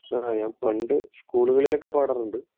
ആ ഞാൻ പണ്ട് സ്‌കൂളുകളിലൊക്കെ പാടാറുണ്ട്